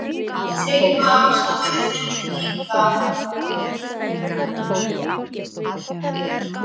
Tryggvi og Ásta voru þarna líka.